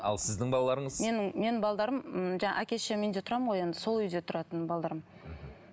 ал сіздің балаларыңыз менің менің балдарым м жаңағы әке шешемнің үйінде тұрамын ғой енді сол үйде тұратын мхм